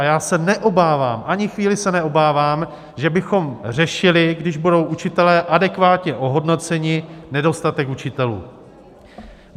A já se neobávám, ani chvíli se neobávám, že bychom řešili, když budou učitelé adekvátně ohodnoceni, nedostatek učitelů.